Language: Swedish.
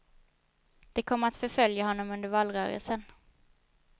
Det kommer att förfölja honom under valrörelsen.